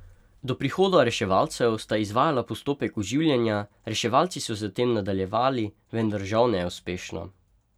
Do prihoda reševalcev sta izvajala postopek oživljanja, reševalci so zatem nadaljevali, vendar žal neuspešno.